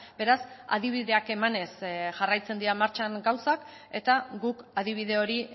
beraz adibideak emanez jarraitzen dira martxan gauzak eta guk adibide hori